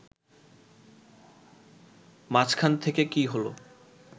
মাঝখান থেকে কী হল